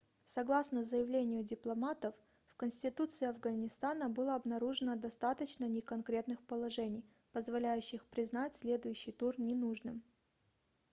согласно заявлению дипломатов в конституции афганистана было обнаружено достаточно неконкретных положений позволяющих признать следующий тур ненужным